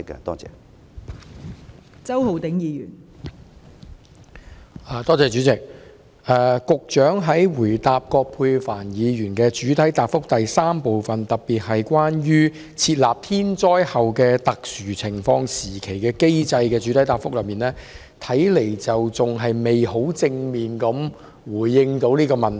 代理主席，局長在答覆葛珮帆議員主體質詢的第三部分，特別是關於設立"天災後特殊情況時期"的機制時，看來仍然未能十分正面地回應有關問題。